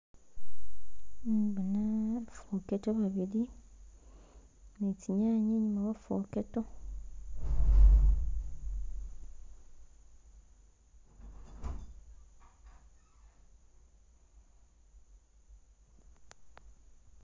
Nkembona fokedo babili nizinyanye inyuma wo fokedo